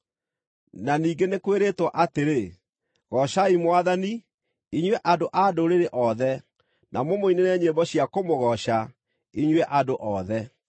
Na ningĩ nĩ kwĩrĩtwo atĩrĩ, “Goocai Mwathani, inyuĩ andũ-a-Ndũrĩrĩ othe, na mũmũinĩre nyĩmbo cia kũmũgooca, inyuĩ andũ othe.”